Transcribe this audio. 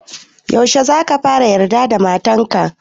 Yaushe za ka fara yarda da matan ka?